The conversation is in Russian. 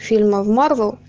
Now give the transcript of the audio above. фильмы в марвел